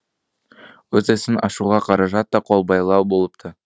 өз ісін ашуға қаражат та қолбайлау болыпты